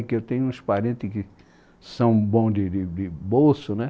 Porque eu tenho uns parentes que são bons de de de bolso, né?